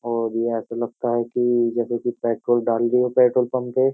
और ये ऐसा लगता है कि जैसे कि पेट्रोल डाल रही हो पेट्रोल पंप पे।